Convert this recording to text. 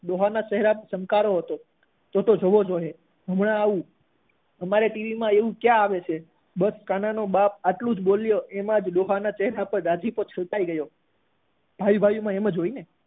ડોહા ના ચેહરા પર ચમકારો હતો તો તો જોવો જોઈએ હમણાં આવું અમારે ટીવી માં એવું ક્યાં આવે છે બસ કાના નો બાપ એટલું જ બોલ્યો એમાં જ ડોહા ના મોઢા પર રાજીપો છવાઈ ગયો ભાઈ ભાઈ માં એવું જ હોય ને